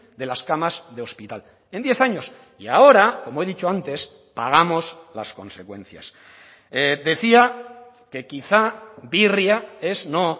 de las camas de hospital en diez años y ahora como he dicho antes pagamos las consecuencias decía que quizá birria es no